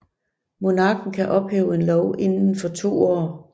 Monarken kan ophæve en lov inden for to år